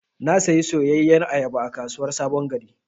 Na sayi soyayyar ayaba a kasuwar sabon gari.